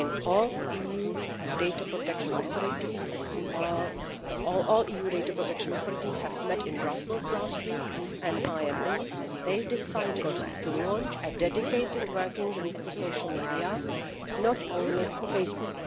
All EU data protection authorities met in Brussels last week, and I am pleased they decided to launch a dedicated working group to social media, not only Facebook.